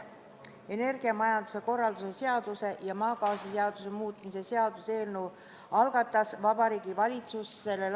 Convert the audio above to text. Energiamajanduse korralduse seaduse ja maagaasiseaduse muutmise seaduse eelnõu algatas Vabariigi Valitsus s.